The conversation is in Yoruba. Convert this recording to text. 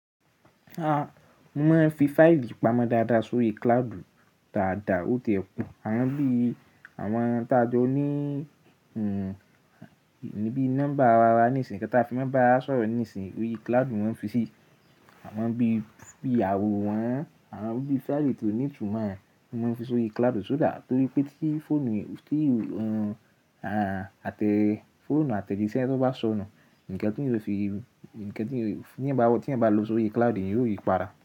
A mo máa ń fi fáìlì pamọ́ dáadáa sórí cloud dáadáa, ó tiẹ́ pọ̀. Àwọn bí i àwọn táa jọ ní níbí nọ́mbà ara ní ìsìn, kí ẹ tà fi máa bá a sọ̀rọ̀ ní ìsìn, óyè cloud wọn fi sí. Àwọn bí i àwòrán, àwọn bí i fáìlì tí ó ní túnmọ̀, wọ́n máa ń fi sórí cloud só dàá torí pé tí fóònù, tí àtẹ́ fóònù àtẹ̀jíṣẹ́ tó bá sọnù, ǹkán tí ó fi, ǹkán tí ó, tí ẹ̀ bá lọ sórí cloud, ìyẹn yóò yípara.